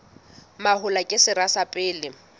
mahola ke sera sa pele